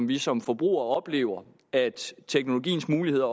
vi som forbrugere oplever at teknologiens muligheder